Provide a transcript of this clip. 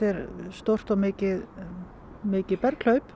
stórt og mikið mikið